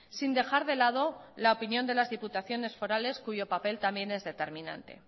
sin dejar de lado la opinión de las diputaciones forales cuyo papel también es determinante